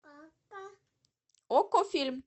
окко фильм